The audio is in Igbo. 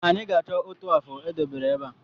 Anyị ga-achọ otu afụ e debere ebe a